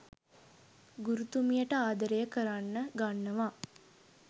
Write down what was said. ගුරුතුමියට ආදරය කරන්න ගන්නවා